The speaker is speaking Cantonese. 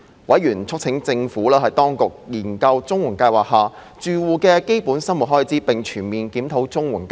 委員促請政府當局研究綜援計劃下住戶的基本生活開支，並全面檢討綜援計劃。